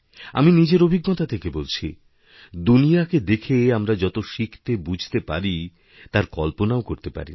আমি নিজেরঅভিজ্ঞতা থেকে বলছি দুনিয়াকে দেখে আমরা যত শিখতেবুঝতে পারি তার কল্পনাও করতেপারি না